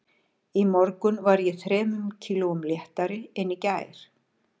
Í morgun var ég þremur kílóum léttari en í gær